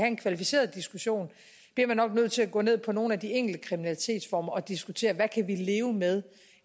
en kvalificeret diskussion bliver man nok nødt til at slå ned på nogle af de enkelte kriminalitetsformer og diskutere hvad kan vi leve med